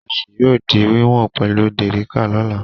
Ìrẹsì yóò di wíwọ̀n pẹ̀lú dẹ̀ríká lọ́la.